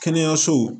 Kɛnɛyasow